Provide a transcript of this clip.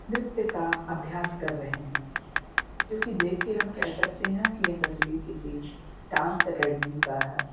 नृत्य का अभ्यास कर रहे हैं जो कि देख के हम कह सकते हैं कि यह तस्वीर किसी डांस अकेडमी का है।